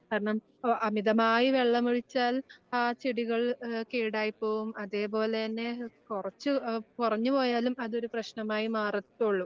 കാരണം, ഓ അമിതമായി വെള്ളമൊഴിച്ചാൽ ആ ചെടികൾ ആഹ് കേടായി പോകും അതേപോലെതന്നെ കൊറച്ച് ആഹ് കുറഞ്ഞു പോയാലും അതൊരു പ്രശ്നമായി മാറത്തോള്ളൂ.